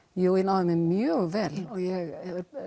jú ég náði mér mjög vel og ég